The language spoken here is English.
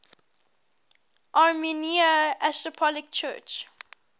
armenian apostolic church